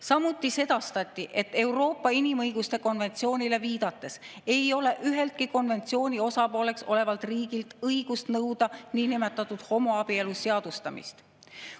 Samuti sedastati Euroopa inimõiguste konventsioonile viidates, et üheltki konventsiooni osapooleks olevalt riigilt ei ole õigust nõuda niinimetatud homoabielu seadustamist.